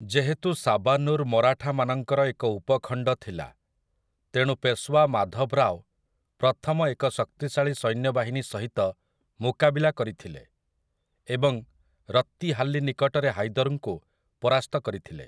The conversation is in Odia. ଯେହେତୁ ସାବାନୁର୍ ମରାଠାମାନଙ୍କର ଏକ ଉପଖଣ୍ଡ ଥିଲା, ତେଣୁ ପେଶୱା ମାଧବରାଓ ପ୍ରଥମ ଏକ ଶକ୍ତିଶାଳୀ ସୈନ୍ୟବାହିନୀ ସହିତ ମୁକାବିଲା କରିଥିଲେ ଏବଂ ରତ୍ତିହାଲ୍ଲି ନିକଟରେ ହାଇଦର୍‌ଙ୍କୁ ପରାସ୍ତ କରିଥିଲେ ।